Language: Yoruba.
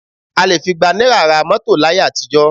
A lè fi igba náírà ra mọ́tò láyé àtijọ́